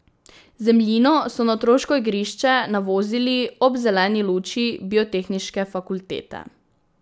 Zemljino so na otroško igrišče navozili ob zeleni luči Biotehniške fakultete.